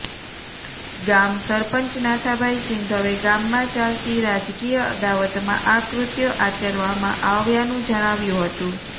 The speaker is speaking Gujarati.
ગામ સરપંચ નાથાભાઈ સિંધવે ગામમાં ચાલતી રાજકીય અદાવતમાં આ કૃત્ય આચરવામાં આવ્યાનું જણાવ્યું હતું